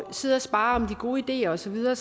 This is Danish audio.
sidde og sparre om de gode ideer og så videre